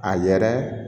A yɛrɛ